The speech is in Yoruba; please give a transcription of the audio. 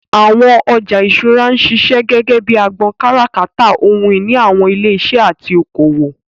Àwọn ọjà ìṣúra ń ṣiṣẹ́ gẹ́gẹ́ bíi agbọn kátàkárà ohun ìní àwọn ilé iṣẹ́ àti oko òwò.